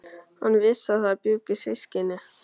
Hann vissi að þar bjuggu systkini.